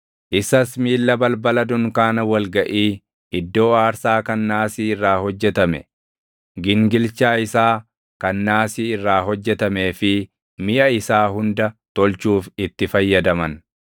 Isas miilla balbala dunkaana wal gaʼii, iddoo aarsaa kan naasii irraa hojjetame, gingilchaa isaa kan naasii irraa hojjetamee fi miʼa isaa hunda tolchuuf itti fayyadaman;